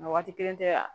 Nka waati kelen tɛ